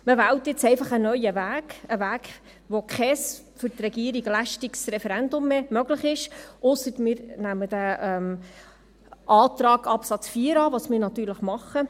Man wählt nun einfach einen neuen Weg, einen Weg, bei dem kein für die Regierung lästiges Referendum mehr möglich ist, ausser, wenn wir den Antrag zu Absatz 4 annehmen, was wir natürlich tun.